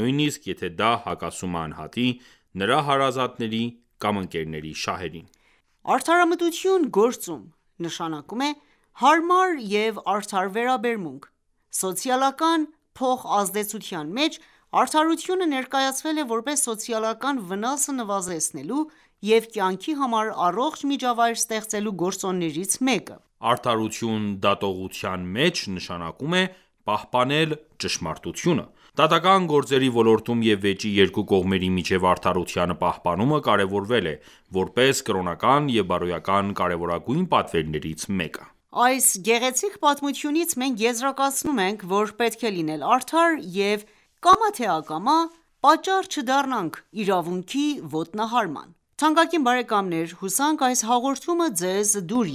,նույնիսկ եթե դա հակասում է անհատի, նրա հարազատների կամ ընկերների շահերին: --Արդարամտություն գործում.նշանակում է հարմար և արդար վերաբերմունք: Սոցիալական փոխազդեցության մեջ արդարությունը ներկայացվել է որպես սոցիալական վնասը նվազեցնելու և կյանքի համար առողջ միջավայր ստեղծելու գործոններից մեկը: • Արդարություն դատողության մեջ.նշանակում է պահպանել ճշմարտությունը: Դատական ​​գործերի ոլորտում և վեճի երկու կողմերի միջև արդարության պահպանումը կարևորվել է, որպես կրոնական և բարոյական կարևորագույն պատվերներից մեկը։ Այս գեղեցիկ պատմությունից մենք եզրակացնում ենք, որ պետք է լինել արդար և կամա թե ակամա պատճառ չդառնանք իրավունքի ոտնահարման: Թանկագին բարեկամներ ,հուսանք այս հաղորդումը Ձեզ դուր